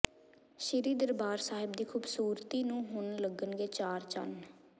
ਸ੍ਰੀ ਦਰਬਾਰ ਸਾਹਿਬ ਦੀ ਖੂਬਸੂਰਤੀ ਨੂੰ ਹੁਣ ਲੱਗਣਗੇ ਚਾਰ ਚੰਨ